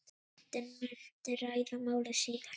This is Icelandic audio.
Nefndin muni ræða málið síðar.